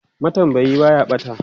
matambayi Baya ɓata